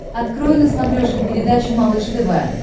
открой на смотрешке передачу малыш тв